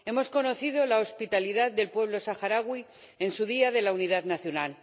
Hemos conocido la hospitalidad del pueblo saharaui en su Día de la Unidad Nacional.